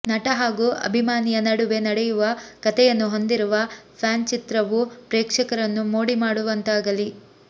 ನಟ ಹಾಗೂ ಅಭಿಮಾನಿಯ ನಡುವೆ ನಡೆಯುವ ಕಥೆಯನ್ನು ಹೊಂದಿರುವ ಫ್ಯಾನ್ ಚಿತ್ರವು ಪ್ರೇಕ್ಷಕರನ್ನು ಮೋಡಿ ಮಾಡುವಂತಾಗಲಿ